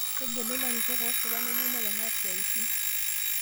Tegelu larikok oosipa neyieu neponaa siatin